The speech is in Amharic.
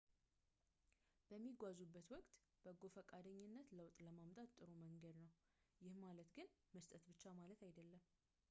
በሚጓዙበት ወቅት በጎ ፈቃደኝነት ለውጥ ለማምጣት ጥሩ መንገድ ነው ይህ ማለት ግን መስጠት ብቻ ማለት አይደለም